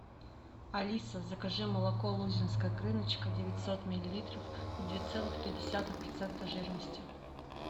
алиса закажи молоко лузинская крыночка девятьсот миллилитров две целых пять десятых процента жирности